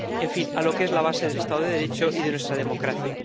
en fin, a lo que es la base del Estado de Derecho y de nuestra democracia.